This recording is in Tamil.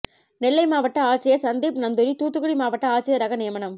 நெல்லை மாவட்ட ஆட்சியர் சந்தீப் நந்தூரி தூத்துக்குடி மாவட்ட ஆட்சியராக நியமனம்